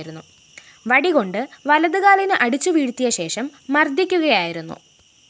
വടി കൊണ്ട് വലത് കാലിന് അടിച്ചുവീഴ്ത്തിയശേഷം മര്‍ദ്ദിക്കുകയായിരുന്നു